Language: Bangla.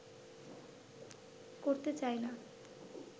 করতে চাই না